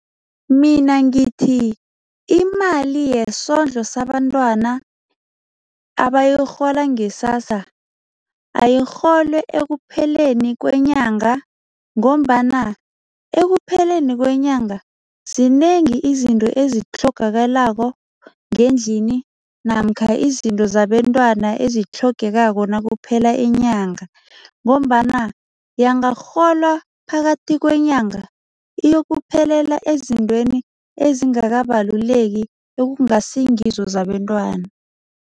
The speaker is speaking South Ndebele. Mina ngithi imali yesondlo sabantwana abayirhola nge-SASSA, ayirholwe ekupheleni kwenyanga ngombana ekupheleni kwenyanga zinengi izinto ezitlhogakalako ngendlini namkha izinto zabentwana ezitlhogekako nakuphela inyanga ngombana yangarholwa phakathi kwenyanga, iyokuphelela ezintweni ezingakabaluleki ekungasingizo zabentwana.